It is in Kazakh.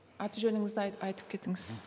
аты жөніңізді айтып кетіңіз